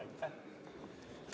Aitäh!